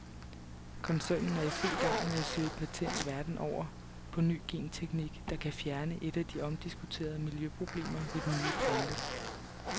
Koncernen er i fuld gang med at søge patent verden over på ny genteknik, der kan fjerne et af de omdiskuterede miljøproblemer ved nye planter.